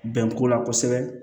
Bɛn ko la kosɛbɛ